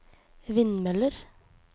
vindmøller